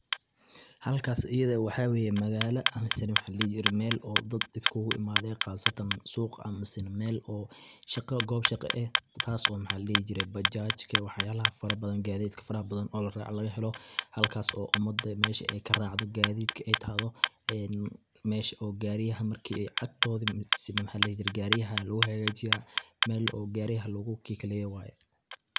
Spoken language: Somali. Halkas ayada ah waxa weye magala ama mise maxa la dihi jire mel ay dad isku imaden qasataan suuq amise mel oo shaqo goob shaqo eh taaso maxa la dihi jire bajajka waax yalaha fara badan gadidka faraha badan o laraco laga helo, halkas oo umada mesha ay karacdo gadidhka ay tahtho en mesha gari marki ay agtodi mise maxa ladihi jire gari lagu hagajiyo lagu kikaleyo.